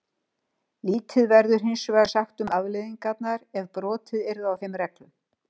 Lítið verður hinsvegar sagt um afleiðingarnar ef brotið yrði á þeim reglum.